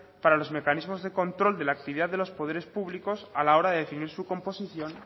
para los mecanismos de control de la actividad de los poderes públicos a la hora de definir su composición